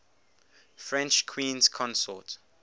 french queens consort